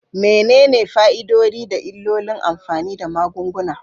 Menene fa'idodi da illolin amfani da magunguna?